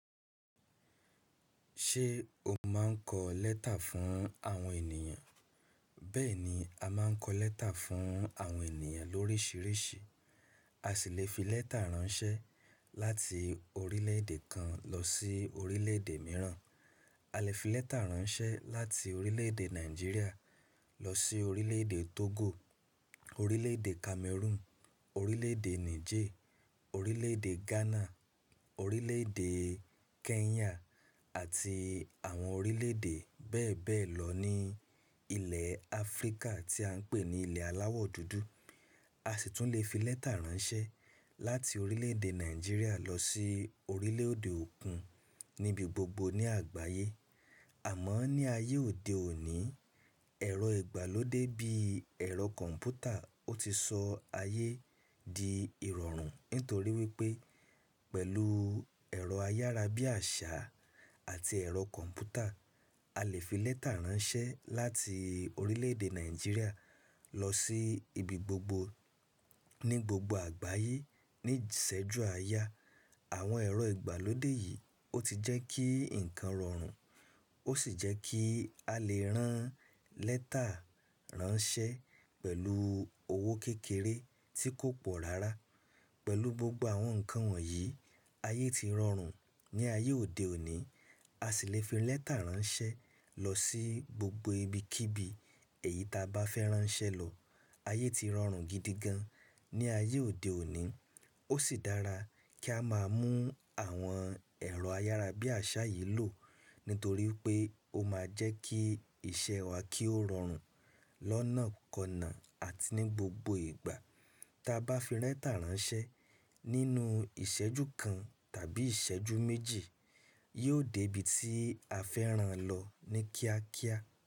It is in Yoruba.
Ṣé o máa ń kọ lẹ́tà fún àwọn ènìyàn? Bẹ́ẹ̀ni, a máa ń kọ lẹ́tà fún àwọn ènìyàn lórísìírísìí. A sì lè fi lẹ́tà ránṣẹ́ láti orílẹ̀-èdè kan lọ sí orílẹ̀-èdè mìíràn. A lè fi lẹ́tà ránṣẹ́ láti orílẹ̀-èdè Nàìjíríà lọ sí orílẹ̀-èdè Togo, orílẹ̀-èdè Cameroon, orílẹ̀-èdè Niger, orílẹ̀-èdè Ghana, orílẹ̀-èdè Kenya àti àwọn orílẹ̀-èdè bẹ́ẹ̀ bẹ́ẹ̀ lọ ní ilẹ̀ Áfríkà tí à ń pè ní ilẹ̀ aláwọ̀ dúdú. A sì tún lè fi lẹ́tà ránṣẹ́ láti orílẹ̀-èdè Nàìjíríà lọ sí orílẹ̀-èdè òkun níbi gbogbo ní àgbáyé. Àmọ́ ní ayé òde òní, ẹ̀rọ ìgbàlódé bí ẹ̀rọ kọ̀m̀pútà ó ti sọ ayé di ìrọ̀rùn nítorí wípé pẹ̀lú ẹ̀rọ ayárabíàṣá àti ẹ̀rọ kọ̀m̀pútà, a lè fi lẹ́tà ránṣẹ́ láti orílẹ̀-èdè Nàìjíríà lọ sí ibi gbogbo ní gbogbo àgbáyé ní ìsẹ́jú aya. Àwọn ẹ̀rọ ìgbàlódé yìí ó ti jẹ́ kí ǹkan rọrùn, ó sì jẹ́ kí a lè rán lẹ́tà ránṣẹ́ pẹ̀lú owó kékeré tí kò pọ̀ rárá. Pẹ̀lú gbogbo àwọn ǹkan wọ̀nyí, ayé ti rọrùn. Ní ayé òde òní, a sì lè fi lẹ́tà ránṣẹ́ lọ sí gbogbo ibikíbi èyí ta bá fẹ́ ránṣẹ́ lọ. Ayé ti rọrùn gidi gan ní ayé òde òní. Ó sì dára kí a máa mú àwọn ẹ̀rọ ayárabíàṣá yìí lò nítorí pé ó máa jẹ́ kí iṣẹ́ wa kí ó rọrùn lọ́nà kọ̀nà àti ní gbogbo ìgbà. Ta bá fi lẹ́tà ránṣẹ́ nínú ìsẹ́jú kan tàbí ìsẹ́jú méjì, yóò dé ibi tí a fẹ́ rán lọ ní kíákíá.